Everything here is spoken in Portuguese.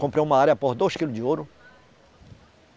Comprei uma área por dois quilos de ouro.